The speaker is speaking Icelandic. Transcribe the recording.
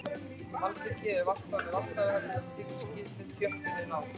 Malbikið er valtað með valtara þar til tilskilinni þjöppun er náð.